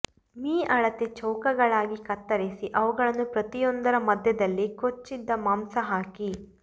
me ಅಳತೆ ಚೌಕಗಳಾಗಿ ಕತ್ತರಿಸಿ ಅವುಗಳನ್ನು ಪ್ರತಿಯೊಂದರ ಮಧ್ಯದಲ್ಲಿ ಕೊಚ್ಚಿದ ಮಾಂಸ ಹಾಕಿ